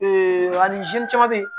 ani caman be yen